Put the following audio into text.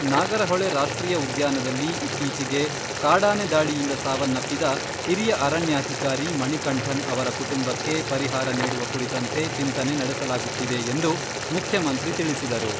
ನಾಗರಹೊಳೆ ರಾಷ್ಟ್ರೀಯ ಉದ್ಯಾನದಲ್ಲಿ ಇತ್ತೀಚಿಗೆ ಕಾಡಾನೆ ದಾಳಿಯಿಂದ ಸಾವನ್ನಪ್ಪಿದ ಹಿರಿಯ ಅರಣ್ಯಾಧಿಕಾರಿ ಮಣಿಕಂಠನ್ ಅವರ ಕುಟುಂಬಕ್ಕೆ ಪರಿಹಾರ ನೀಡುವ ಕುರಿತಂತೆ ಚಿಂತನೆ ನಡೆಸಲಾಗುತ್ತಿದೆ ಎಂದು ಮುಖ್ಯಮಂತ್ರಿ ತಿಳಿಸಿದರು.